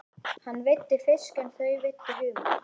Hann veiddi fisk en þau veiddu humar.